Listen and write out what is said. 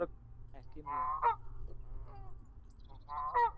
Ekki mjög